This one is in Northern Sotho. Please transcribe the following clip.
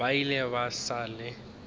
ba ile ba sa le